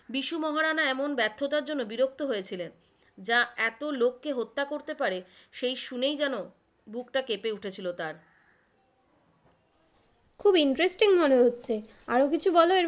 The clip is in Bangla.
বিষু মহারাণা এমন ব্যার্থতার জন্য বিরক্ত হয়েছিলেন, যা এত লোককে হত্যা করতে পারে সেই শুনেই যেন বুক টা কেঁপে উঠেছিল তার, খুব interesting মনে হচ্ছে, আরো কিছু বল এর,